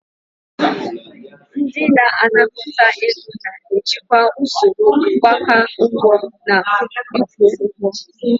Ndị na-anakọta ego na-ejikwa usoro mgbake ụgwọ na ịkwụ ụgwọ.